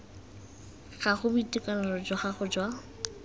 gago boitekanelo jwa gago jwa